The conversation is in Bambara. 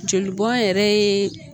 Joli bɔn yɛrɛ ye